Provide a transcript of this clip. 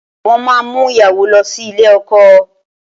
Wọ́n máa mú ìyàwó lọ sí ilé ọkọ